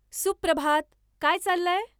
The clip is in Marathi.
सुप्रभात. काय चाललंय ?